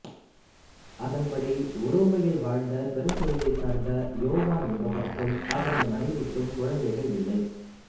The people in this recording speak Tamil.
அதன்படி உரோமையில் வாழ்ந்த பெருங்குடியைச் சார்ந்த யோவான் என்பவருக்கும் அவரது மனைவிக்கும் குழந்தைகள் இல்லை